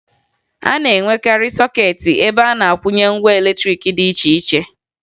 A na-enwekarị sọkeetị ebe a na-akwụnye ngwa latrịịkị dị iche iche